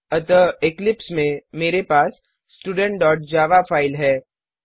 अतः इक्लिप्स में मेरे पास studentजावा फाइल है